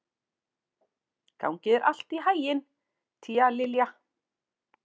Gangi þér allt í haginn, Tíalilja.